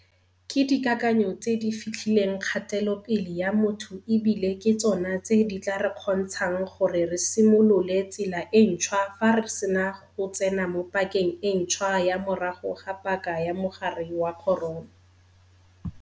Ke dikakanyo tse di fetlhileng kgatelopele ya motho e bile ke tsona tse di tla re kgontshang gore re simolole tsela e ntšhwa fa re sena go tsena mo pakeng e ntšhwa ya morago ga paka ya mogare wa corona.